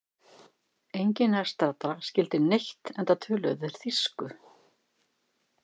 Enginn nærstaddra skildi neitt enda töluðu þeir þýsku.